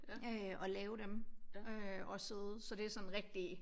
Øh og lave dem øh og sidde så det sådan rigtig